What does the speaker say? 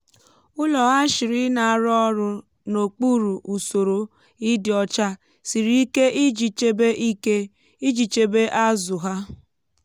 ụlọ hatchery na-arụ ọrụ n'okpuru usoro ịdị ọcha siri ike iji chebe ike iji chebe azụ ha.